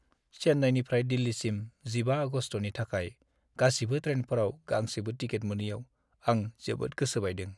चेन्नाईनिफ्राय दिल्लीसिम 15 आगस्तनि थाखाय गासिबो ट्रेनफोराव गांसेबो टिकेट मोनैयाव आं जोबोद गोसो बायदों।